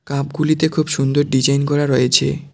কাপগুলিতে খুব সুন্দর ডিজাইন করা রয়েছে।